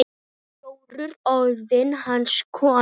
Jórunn orðin hans kona.